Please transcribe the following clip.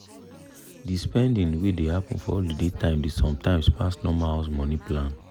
the spending wey dey happen for holiday time dey sometimes pass normal house money plan